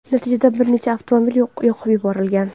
Natijada bir nechta avtomobil yoqib yuborilgan.